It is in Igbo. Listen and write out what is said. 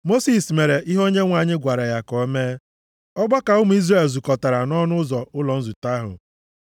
Mosis mere ihe Onyenwe anyị gwara ya ka o mee. Ọgbakọ ụmụ Izrel zukọtara nʼọnụ ụzọ ụlọ nzute ahụ.